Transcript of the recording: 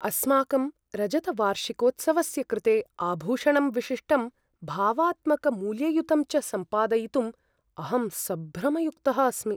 अस्माकं रजतवार्षिकोत्सवस्य कृते आभूषणं विशिष्टं भावात्मकमूल्ययुतं च संपादयितुं अहं सभ्रमयुक्तः अस्मि।